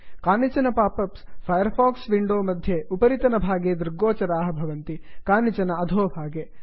कानिचन pop ups Firefox window मध्ये उपरितन भागे दृग्गोचराः भवन्ति कानिचन अधोभागे